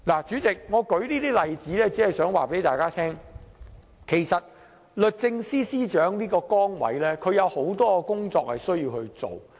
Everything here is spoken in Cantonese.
主席，我列舉這些例子，只是想告訴大家，律政司司長的崗位有很多工作需要處理。